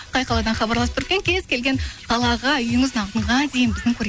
қай қаладан хабарласып тұр екен кез келген қалаға үйіңіздің алдыға дейін біздің